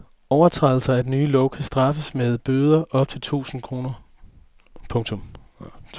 Overtrædelser af den nye lov kan straffes med bøder op til to tusinde kroner. punktum